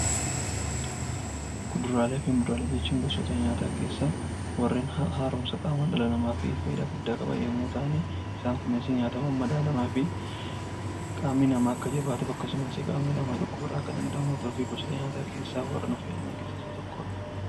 Kuduraalee fi muduraalee jechuun gosoota nyaataa keessaa warreen haaromsuu qaamaa dhala namaafi fayyidaa guddaa qaban yemmuu ta'an isaan kunis nyaata mammadaalamaa fi qaamni namaa akka jabaatuufi akkasumas qaamni namaa dhukkuba irraa akka damdamatuuf gosoota nyaataa keessaa warra nu fayyadan keessaa Isa tokkoodha.